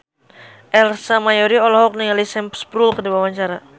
Ersa Mayori olohok ningali Sam Spruell keur diwawancara